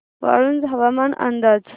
वाळूंज हवामान अंदाज